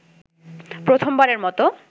প্রথমবারের মতো